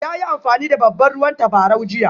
Ya yi amfani da babban ruwan tabarau jiya?